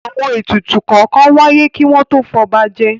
Àwọn ètùtù kọ̀ọ̀kan wáyé kí wọ́n tó fọba jẹ.